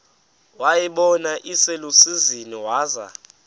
wayibona iselusizini waza